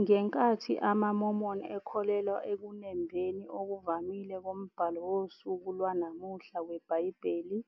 Ngenkathi amaMormon ekholelwa ekunembeni okuvamile kombhalo wosuku lwanamuhla weBhayibheli,